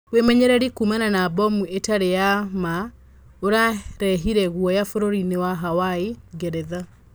Wemenyereri kuumana na mbomu itari ya maa ũrarehire guoya bũrũri-inĩ wa Hawaii, Ngeretha.